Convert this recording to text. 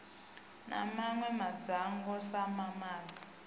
na mawe madzhango sa mamaga